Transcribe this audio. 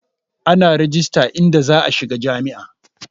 Ana rejista idan za'a shiga jam'iyya.